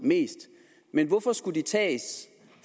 men hvorfor skulle de tages